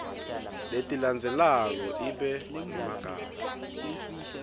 letilandzelako ibe ngemagama